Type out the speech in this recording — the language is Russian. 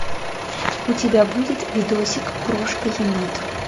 у тебя будет видосик крошка енот